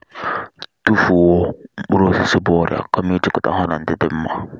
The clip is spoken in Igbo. tufuo mkpụrụ osisi bu ọrịa kama kama ijikọta ha na ndị dị nma